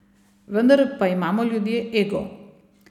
Vendar pa imamo ljudje ego.